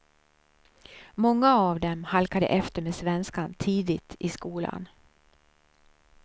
Många av dem halkade efter med svenskan tidigt i skolan.